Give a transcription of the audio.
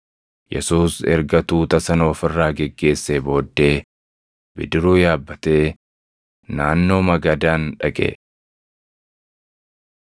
Yesuus erga tuuta sana of irraa geggeessee booddee bidiruu yaabbatee naannoo Magadaan dhaqe.